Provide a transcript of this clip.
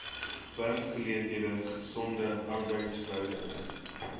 werksgeleenthede gesonde arbeidsverhoudinge